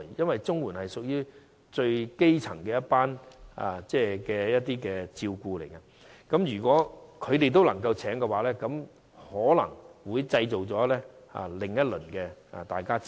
因為綜援屬於最基層的福利，如果這些長者也可聘請外傭的話，便可能會製造另一輪的爭拗。